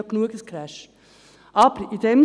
Crashs gibt es bereits genügend.